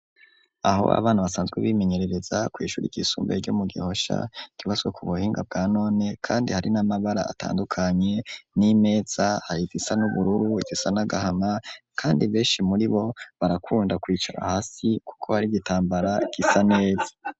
Aho abana basanzwe bimenyerereza kw'ishuri ryisumbuye ryo mu Gihosha, ryubatswe ku buhinga bwa none kandi hari n'amabara atandukanye, n'imeza hari izisa n'ubururu, izisa n'agahama, kandi benshi muri bo barakunda kwicara hasi kuko hari igitambara gisa neza.